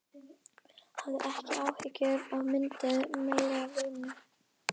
Hafið ekki áhyggjur af myndum meistara Lúnu.